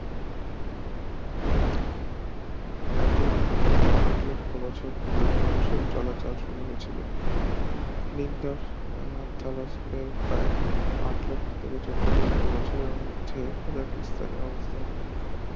এক লক্ষ আট লক্ষ বছর পূর্বে মানুষের চলাচল শুরু হয়েছিল এক নিন্দর আহ থালোস এর পায়ে আট লক্ষ থেকে চোদ্দ লক্ষ বছরের মধ্যে কাজাকিস্তানে অবস্থান করত